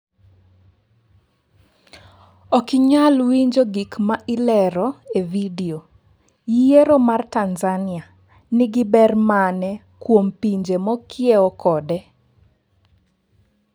Ok inyal winjo gik ma ilero e video, yiero ma tanzania nigi ber mane kuom pinje mokiewo kode?